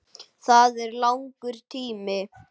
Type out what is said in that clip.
Það er langur tími.